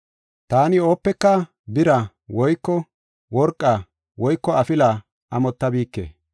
“Taani oodde bira woyko worqa woyko afila amottabike.